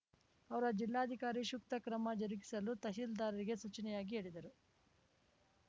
ಅವರ ಜಿಲ್ಲಾಧಿಕಾರಿ ಸೂಕ್ತ ಕ್ರಮ ಜರುಗಿಸಲು ತಹಶೀಲ್ದಾರ್‌ರಿಗೆ ಸೂಚನೆಯಾಗಿ ಹೇಳಿದರು